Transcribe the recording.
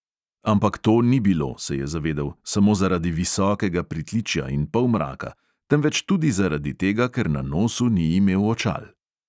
Ampak to ni bilo, se je zavedel, samo zaradi visokega pritličja in polmraka, temveč tudi zaradi tega, ker na nosu ni imel očal.